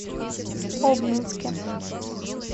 обнинске